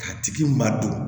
K'a tigi ma don